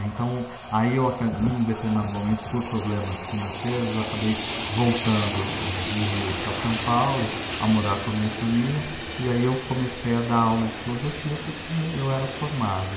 Então, aí eu aca, num determinado momento, por problemas financeiros, eu acabei voltando, do Rio para São Paulo, a morar com a minha família, e aí eu comecei a dar aula de filosofia, porque eu era formado.